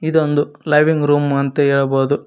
ಇದೊಂದು living room ಅಂತ ಹೇಳಬೊದು.